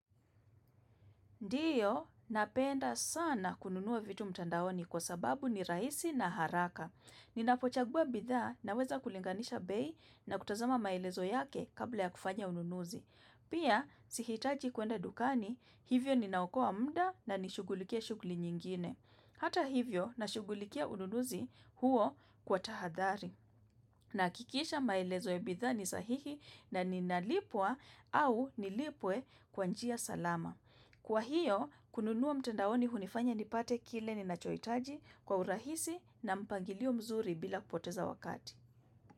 Ndiyo, napenda sana kununua vitu mtandaoni kwa sababu ni rahisi na haraka. Ninapochagua bidhaa naweza kulinganisha bei na kutazama maelezo yake kabla ya kufanya ununuzi. Pia, sihitaji kuenda dukani, hivyo ninaokoa muda na nishugulikie shughuli nyingine. Hata hivyo, nashugulikia ununuzi huo kwa tahadhari. Nahakikisha maelezo ya bidhaa ni sahihi na ninalipwa au nilipwe kwa njia salama. Kwa hiyo, kununua mtandaoni hunifanya nipate kile ninachohitaji kwa urahisi na mpangilio mzuri bila kupoteza wakati.